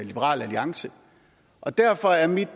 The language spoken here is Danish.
liberal alliance og derfor er mit